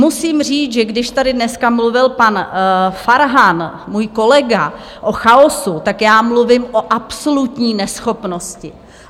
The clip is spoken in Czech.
Musím říct, že když tady dneska mluvil pan Farhan, můj kolega, o chaosu, tak já mluvím o absolutní neschopnosti.